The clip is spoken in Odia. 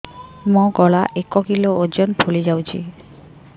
ମୋ ଗଳା ଏକ କିଲୋ ଓଜନ ଫୁଲି ଯାଉଛି